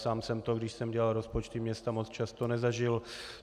Sám jsem to, když jsem dělal rozpočty města moc často nezažil.